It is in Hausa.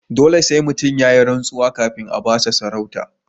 Dole sai mutum yayi rantsuwa kafin a bashi sarauta.